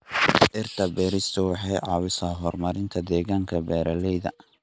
Dhirta beerista waxay caawisaa horumarinta deegaanka beeralayda.